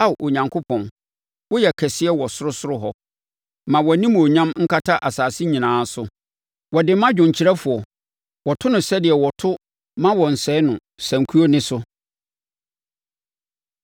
Ao Onyankopɔn, woyɛ kɛseɛ wɔ ɔsorosoro hɔ; ma wʼanimuonyam nkata asase nyinaa so. Wɔde ma dwomkyerɛfoɔ. Wɔto no sɛdeɛ wɔto “Mma Wɔnsɛe No” sankuo nne so.